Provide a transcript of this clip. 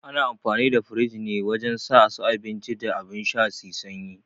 Ana amfani da firij ne wajen sa su abinci da abun sha su yi sanyi